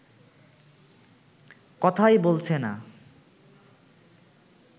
কথাই বলছে না